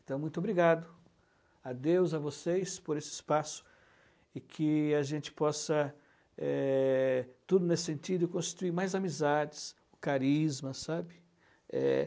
Então, muito obrigado a Deus, a vocês, por esse espaço, e que a gente possa, é, tudo nesse sentido, construir mais amizades, carisma, sabe?